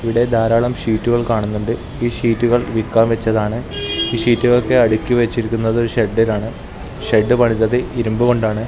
ഇവിടെ ധാരാളം ഷീറ്റുകൾ കാണുന്നുണ്ട് ഈ ഷീറ്റുകൾ വിക്കാൻ വെച്ചതാണ് ഈ ഷീറ്റുകളൊക്കെ അടുക്കി വെച്ചിരിക്കുന്നത് ഒരു ഷെഡിലാണ് ഷെഡ് പണിതത് ഇരുമ്പ് കൊണ്ടാണ്.